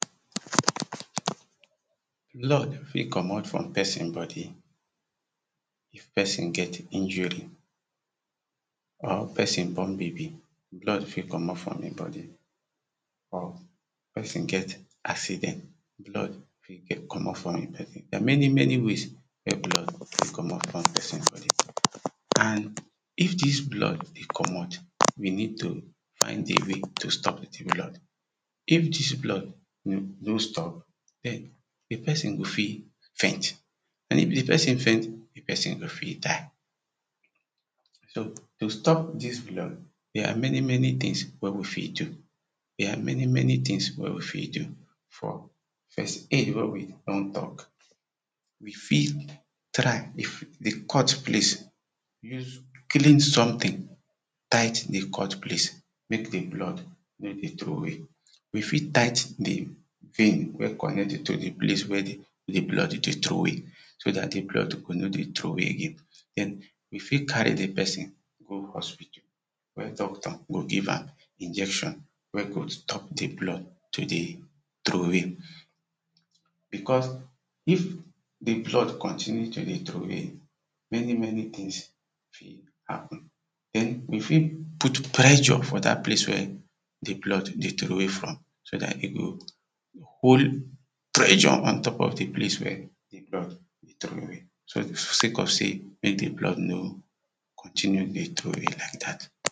Blood fit komot from person body if di person get injury or person born baby blood fit komot from im body. Or person get accident, blood fit komot from im body many many ways wen blood fit take komot from person body. And if dis blood dey komot we need to find a way to stop di blood, if dis blood no stop, di person go fit faint and if di person faint, di person go fit die so to stop dis blood, there are many many things, wen we fit do. there are many many things, wen we fit do. for first aid wen we don talk we fit, try if di cut place use clean something tight di cut place, make di blood no de troway. We fit tight di vein wen connect to di place wen di blood dey troway so dat di blood go no dey troway again, den we fit carry di person go hospital wen doctor go give am injection wen go stop di blood to dey troway. Because if di blood continue to dey troway many many things fit happen, den we fit put pressure for dat place wen di blood dey troway from so dat e go hol pressure, on top of di place wen di blood dey troway sake of sey make di blood nor continue to dey troway like dat.